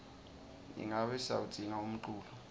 ingabe siyawudzinga umculo